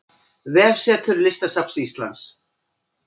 Vefsetur Listasafns Íslands